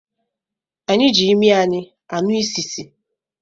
Anyị ji ịmị anyị ànú ị́sìsì